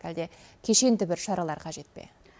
әлде кешенді бір шаралар қажет пе